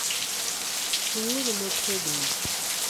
Chung'uru motegno!